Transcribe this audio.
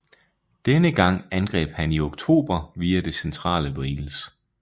Denne gang angreb han i oktober via det centrale Wales